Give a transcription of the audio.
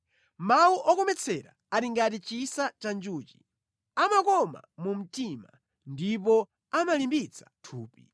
Mawu okometsera ali ngati chisa cha njuchi, amakoma mu mtima ndipo amalimbitsa thupi.